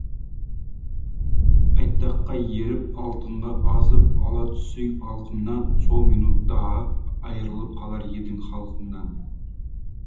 айтаққа еріп алтынға азып ала түссең алқымнан сол минутта ақ айырылып қалар едің халқыңнан